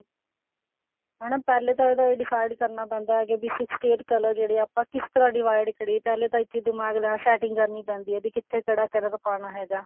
ਹਨਾ ਪਹਿਲੇ ਤਾਂ ਇਹਦਾ decide ਕਰਨਾ ਪੈਂਦਾ ਵੀ sixty eight ਜਿਹੜੇ color ਆ ਆਪਾਂ ਕਿਸ ਤਰ੍ਹਾਂ divide ਕਰੀਏ ਪਹਿਲੇ ਤਾਂ ਦਿਮਾਗ ਨਾਲ setting ਕਰਨੀ ਪੈਂਦੀ ਆ ਕਿੱਥੇ ਕਿਹੜਾ color ਪਾਉਣਾ ਹੈਗਾ